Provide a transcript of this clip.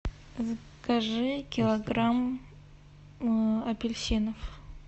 закажи килограмм апельсинов